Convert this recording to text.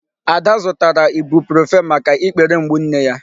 Ada zụtara Ibuprofen maka ikpere mgbu nne ya.